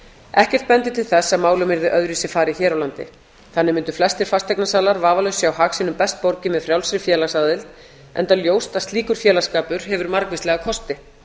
ekkert bendir til þess að málum yrði öðruvísi farið hér á landi þannig mundu flestir fasteignasalar vafalaust sjá hag sínum best borgið með frjálsri félagsaðild enda ljóst að slíkur félagsskapur hefur margvíslega kosti